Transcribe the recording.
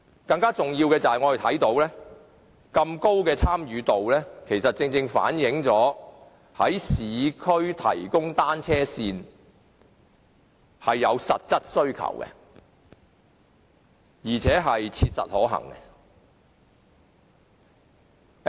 更重要的是，我們看到市民有如此高度的參與，正正反映在市區提供單車線是有實質的需求，亦切實可行。